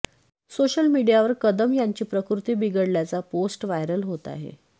social मीडियावर कदम यांची प्रकृती बिघडल्याच्या पोस्ट व्हायरल होत आहेत